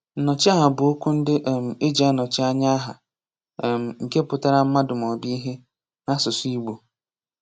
Nnọchiaha bụ okwu ndị um e ji anọchi anya aha um (nke pụtara mmadụ maọbụ ihe) n'asụsụ Igbo